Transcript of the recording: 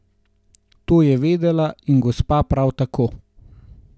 To je vedela, in gospa prav tako.